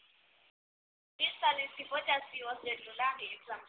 બેતાલીશ થી પચાસ દિવસ જેટલો લાગે exam પછી